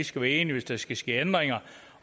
skal være enige hvis der skal ske ændringer